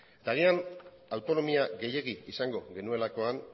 eta agian autonomia gehiegi izango genuelakoan